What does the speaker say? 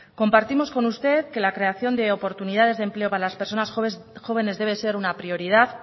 compartimos con usted que la creación de oportunidades de empleo para las personas jóvenes debe ser una prioridad